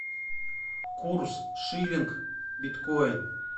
курс шиллинг биткоин